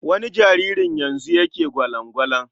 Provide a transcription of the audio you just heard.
Wani jaririn yanzu yake gwalan-gwalan.